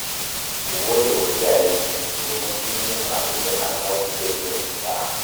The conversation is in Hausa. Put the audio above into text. Ku gode wa iyayenku, domin sun yi muku abinda ba za ku iya biyan su ba